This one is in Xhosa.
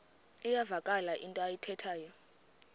iyavakala into ayithethayo